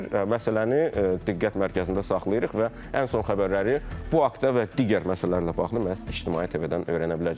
Məsələni diqqət mərkəzində saxlayırıq və ən son xəbərləri bu haqda və digər məsələlərlə bağlı məhz İctimai TV-dən öyrənə biləcəksiniz.